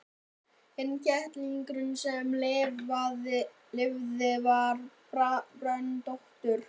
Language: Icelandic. Hinn kettlingurinn sem lifði var bröndóttur.